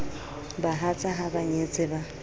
bahatsa ha ba nyetse ba